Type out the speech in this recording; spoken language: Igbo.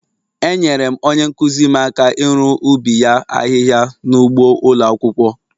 Enyere m onye nkụzi m aka iru ubi ya ahịhịa n'ụgbọ ụlọ akwụkwọ.